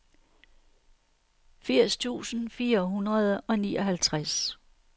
firs tusind fire hundrede og nioghalvtreds